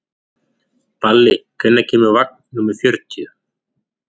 Balli, hvenær kemur vagn númer fjörutíu?